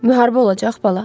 Müharibə olacaq bala?